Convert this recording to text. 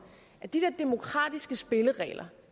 at de der demokratiske spilleregler